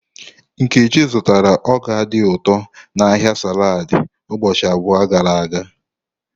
Nkechi zụtara ọka dị ụtọ n'ahịa saladi ụbọchị abụọ gara aga.